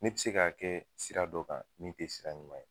Ne bi se k'a kɛ sira dɔ kan min te sira ɲuman ye